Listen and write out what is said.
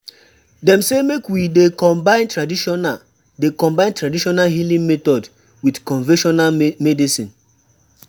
Dem sey make we dey combine tradional dey combine tradional healing method wit conventional medicine.